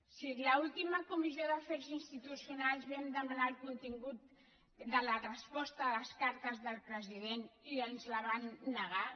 si en l’última comissió d’afers institucionals vam demanar el contingut de la resposta a les cartes del president i ens el van negar